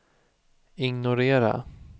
ignorera